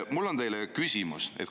Mul on teile küsimus.